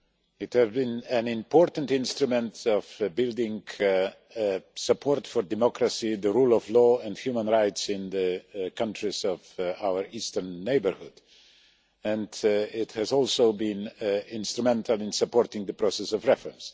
It has been an important instrument in building support for democracy, the rule of law and human rights in the countries of our Eastern Neighbourhood, and it has also been instrumental in supporting the process of reform.